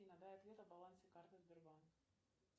афина дай ответ о балансе карты сбербанк